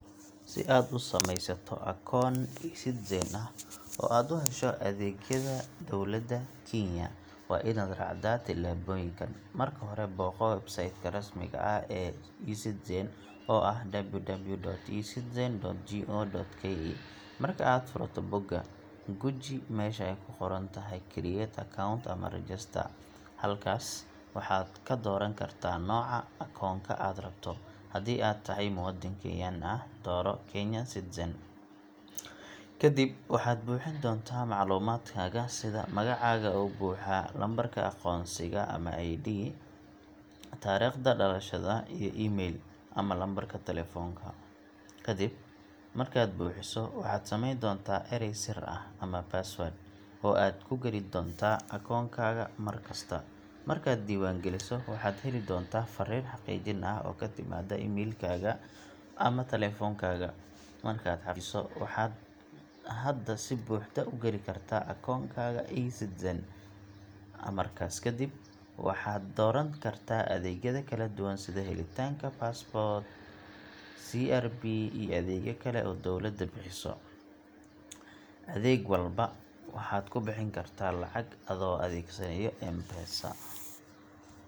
Si aad u samaysato akoon eCitizen ah oo aad u hesho adeegyada dowladda Kenya, waa inaad raacdaa tillaabooyinkan: Marka hore, booqo website ka rasmiga ah ee eCitizen, oo ah www.ecitizen.go.ke . Marka aad furto bogga, guji meesha ay ku qoran tahay Create Account ama Register. Halkaas waxaad ka dooran kartaa nooca akoonka aad rabto – haddii aad tahay muwaadin Kenyan ah, dooro Kenyan Citizen. Kadib, waxaad buuxin doontaa macluumaadkaaga sida magacaaga oo buuxa, lambarka aqoonsiga ama ID, taariikhda dhalashada, iyo email ama lambarka telefoonka. Kadib markaad buuxiso, waxaad samayn doontaa eray sir ah password oo aad ku geli doonto akoonkaaga mar kasta. Markaad iska diiwaangeliso, waxaad heli doontaa farriin xaqiijin ah oo ku timaadda emailkaaga ama taleefankaaga. Markaad xaqiijiso, waxaad hadda si buuxda u gali kartaa akoonkaaga eCitizen. Amarkaas kadib, waxaad dooran kartaa adeegyada kala duwan sida helitaanka Passport, CRB iyo adeegyo kale oo dowladda bixiso. Adeeg walba waxaad ku bixin kartaa lacagta adoo adeegsanaya M-Pesa.